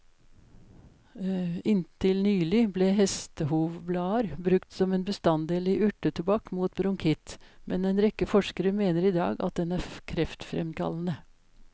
Inntil nylig ble hestehovblader brukt som en bestanddel i urtetobakk mot bronkitt, men en rekke forskere mener i dag at den er kreftfremkallende.